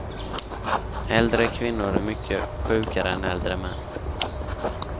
Äldre kvinnor är mycket sjukare än äldre män.